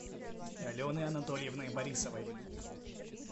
алены анатольевны борисовой